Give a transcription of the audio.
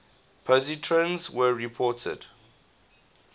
positrons were reported